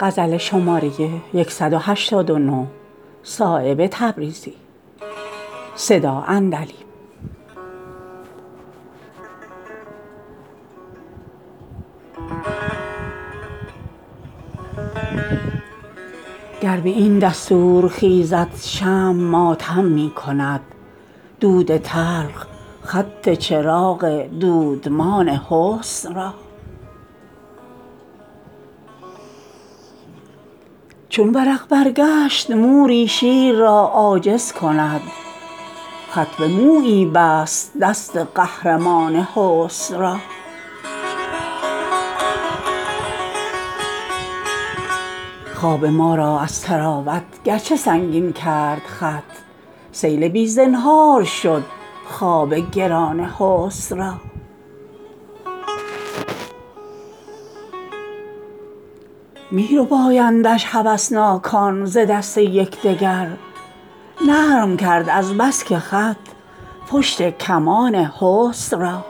گر به این دستور خیزد شمع ماتم می کند دود تلخ خط چراغ دودمان حسن را چون ورق برگشت موری شیر را عاجز کند خط به مویی بست دست قهرمان حسن را خواب ما را از طراوت گرچه سنگین کرد خط سیل بی زنهار شد خواب گران حسن را می ربایندش هوسناکان ز دست یکدگر نرم کرد از بس که خط پشت کمان حسن را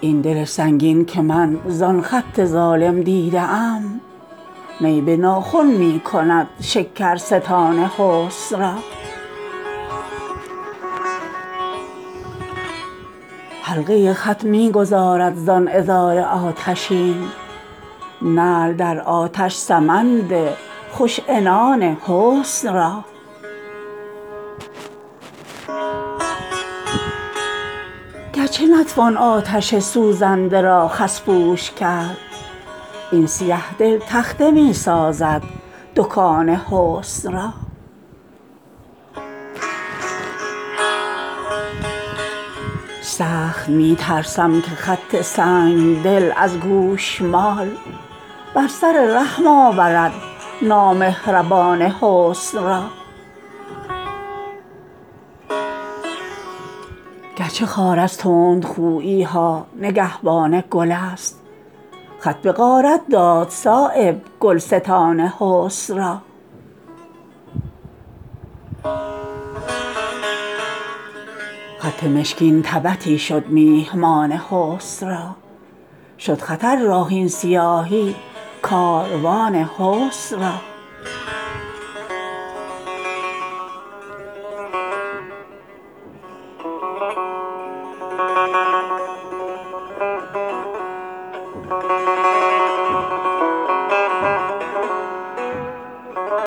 این دل سنگین که من زان خط ظالم دیده ام نی به ناخن می کند شکرستان حسن را حلقه خط می گذارد زان عذار آتشین نعل در آتش سمند خوش عنان حسن را گرچه نتوان آتش سوزنده را خس پوش کرد این سیه دل تخته می سازد دکان حسن را سخت می ترسم که خط سنگدل از گوشمال بر سر رحم آورد نامهربان حسن را گرچه خار از تندخویی ها نگهبان گل است خط به غارت داد صایب گلستان حسن را خط مشکین تبتی شد میهمان حسن را شد خطر راه این سیاهی کاروان حسن را